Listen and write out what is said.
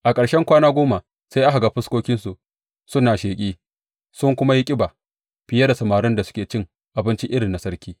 A ƙarshen kwana goma sai aka ga fuskokinsu suna sheƙi, sun kuma yi ƙiba fiye da samarin da suke cin abinci irin na sarki.